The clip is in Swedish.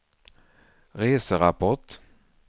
reserapport